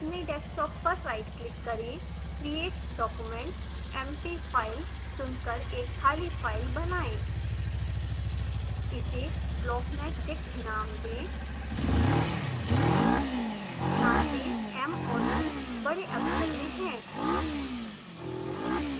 अपने डेस्कटॉप पर right click करें create document > empty file चुनकर एक खाली फाइल बनाएं इसे blockmeshdict नाम दें ध्यान दें m और d बड़े अक्षर में हैं